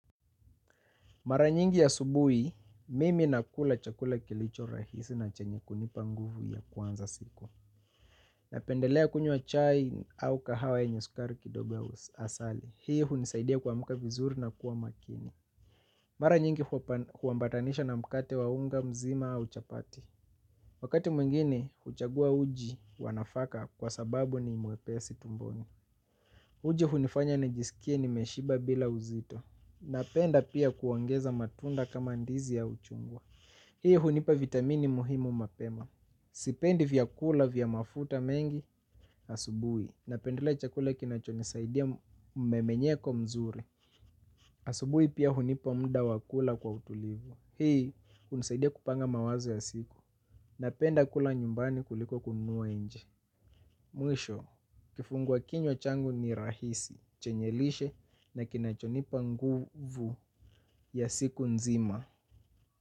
Mara nyingi asubui mimi nakula chakula kilicho rahisi na chenye kunipa nguvu ya kuanza siku. Napendelea kunyua chai au kahawa enye sukari kidogo asali. Hii hunisaidia kwa muka vizuri na kuwa makini. Mara nyingi huwambatanisha na mkate waunga mzima au chapati. Wakati mwingine, uchagua uji wanafaka kwa sababu ni imwepesi tumboni. Uji hunifanya nijisikie ni meshiba bila uzito. Napenda pia kuongeza matunda kama ndizi au chungwa hii hunipa vitamini muhimu mapema. Sipendi vya kula vya mafuta mengi. Asubui napendelea chakula kinacho nisaidia memenyeko mzuri. Asubui pia hunipa mda wakula kwa utulivu. Hii hunisaidia kupanga mawazo ya siku. Napenda kula nyumbani kuliko kunua enje. Mwisho, kifungwa kinywa changu ni rahisi. Chenyelishe na kinachonipa nguvu ya siku nzima.